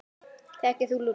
Þekkir þú Lúlla?